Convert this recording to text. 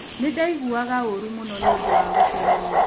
Nĩ ndaiguaga ũũru mũno nĩ ũndũ wa gũcererũo.